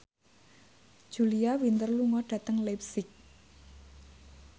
Julia Winter lunga dhateng leipzig